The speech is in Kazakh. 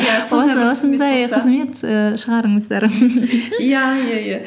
қызмет ііі шығарыңыздар иә иә иә